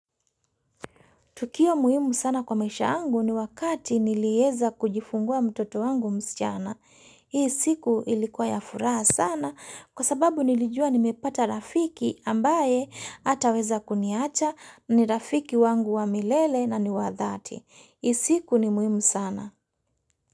Tukio muhimu sana kwa maisha yangu ni wakati nilieza kujifungua mtoto wangu msichana. Hii siku ilikuwa ya furaha sana kwa sababu nilijua nimepata rafiki ambaye hata weza kuniacha ni rafiki wangu wa milele na ni wadhati. Hii siku ni muhimu sana.